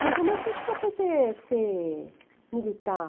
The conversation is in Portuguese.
Ele falou. Mas por que que o senhor foi ser ser militar?